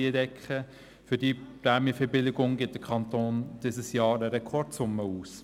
Für diese Prämienverbilligung gibt der Kanton dieses Jahr eine Rekordsumme aus.